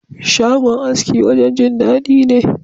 Shagon aski wajen Jin dadi ne.